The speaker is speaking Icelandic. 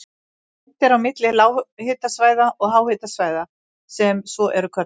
Greint er á milli lághitasvæða og háhitasvæða sem svo eru kölluð.